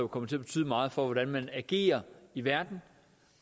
kommer til at betyde meget for hvordan man agerer i verden